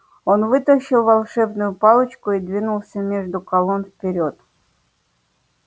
он вытащил волшебную палочку и двинулся между колонн вперёд